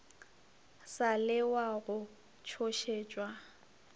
sa le wa go tšhošetšwa